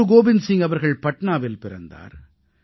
குரு கோவிந்த் சிங் அவர்கள் பட்னாவில் பிறந்தார்